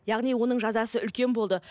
яғни оның жазасы үлкен болды